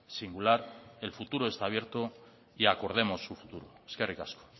singular el futuro está abierto y acordemos su futuro eskerrik asko